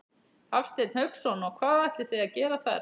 Hafsteinn Hauksson: Og hvað ætlið þið að gera þar?